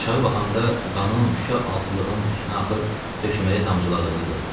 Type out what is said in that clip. Aşağı baxanda qanın şüşə altlığın üstünə axıb döşəməyə damcıladığını gördü.